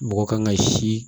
Mɔgɔ kan ka si